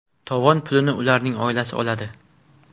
Tovon pulini ularning oilalari oladi.